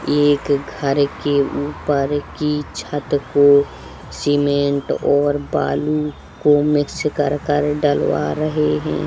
ये एक घर के ऊपर की छत को सीमेंट और बालू को मिक्स कर-कर डलवा रहे हैं।